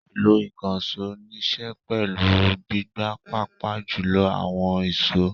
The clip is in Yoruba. Ìlò ìkànṣó níṣe pẹ̀lú gbígbá pàápàá jùlọ àwọn ìṣó.